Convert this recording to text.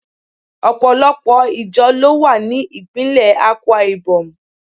Opolopo ijo lowa ni ipinle Akwaibom